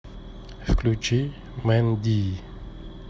включи мэнди